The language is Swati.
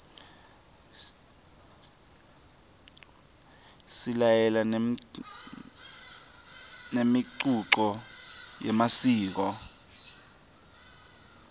silalela nemicuco yemasiko